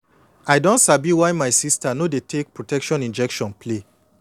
i don sabi why my sister no dey take protection injection play